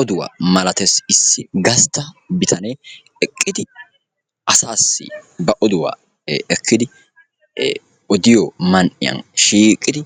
Oduwaa malattees, issi gastta bitanee eqqidi asaassi ba oduwaa ekkidi odiyoo man"iyaan shiiqidi